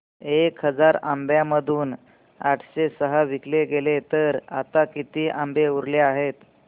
एक हजार आंब्यांमधून आठशे सहा विकले गेले तर आता किती आंबे उरले आहेत